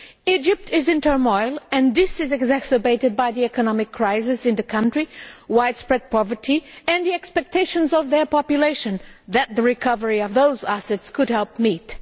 Egypt is in turmoil, and this is exacerbated by the economic crisis in the country, widespread poverty and the expectations of their population that recovery of those assets could help meet.